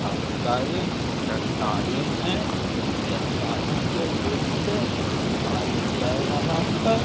हुत सारे चट्टानें हैं चट्टानों के बीच से पानी बह रहा है।